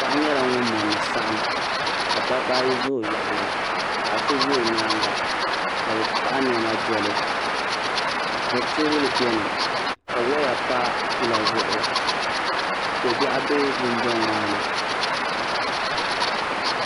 paɣa nyɛla ŋun mɔndi saɣim ka dabba ayi za o yaɣili paɣ' so za o nyaaga ka bɛ paɣi nema deli bɛ teebuli beni ka weeya pa pila zuɣu ko' biɛɣu be dunduŋ maa.